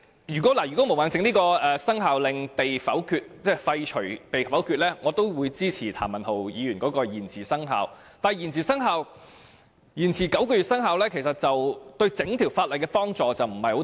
如果毛孟靜議員提出的議案被否決，我也會支持譚文豪議員提出修訂規例延遲生效的議案，但延遲9個月生效，對於整項修訂規例的幫助不大。